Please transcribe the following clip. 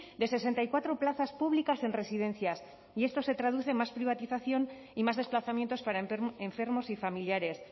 de sesenta y cuatro plazas públicas en residencias y esto se traduce en más privatización y más desplazamientos para enfermos y familiares